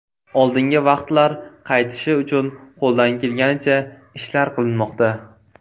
Oldingi vaqtlar qaytishi uchun qo‘ldan kelganicha ishlar qilinmoqda.